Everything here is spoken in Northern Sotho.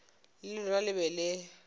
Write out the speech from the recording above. le lona le be le